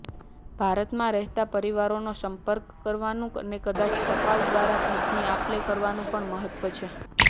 ભારતમાં રહેતા પરિવારનો સંપર્ક કરવાનું અને કદાચ ટપાલ દ્વારા ભેટની આપલે કરવાનું પણ મહત્વ છે